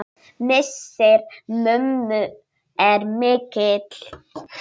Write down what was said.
Missir mömmu er mikill.